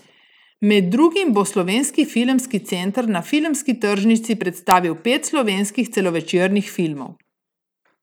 Med drugim bo Slovenski filmski center na filmski tržnici predstavil pet slovenskih celovečernih filmov.